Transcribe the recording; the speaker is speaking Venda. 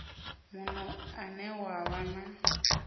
muno une wa vha na